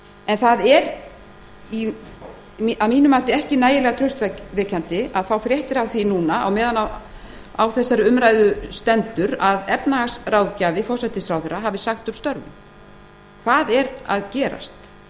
en það er að mínu mati ekki nægilega traustvekjandi að fá fréttir af því á meðan á þessari umræðu stendur að efnahagsráðgjafi forsætisráðherra hafi sagt upp störfum hvað er að gerast